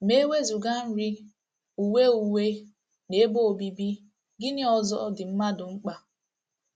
Ma e wezụga nri, uwe uwe, na ebe obibi, gịnị ọzọ dị mmadụ mkpa?